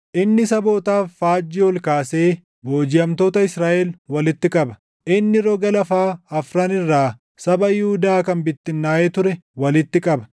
Inni sabootaaf faajjii ol kaasee boojiʼamtoota Israaʼel walitti qaba; inni roga laafaa afran irraa saba Yihuudaa kan bittinnaaʼee ture walitti qaba.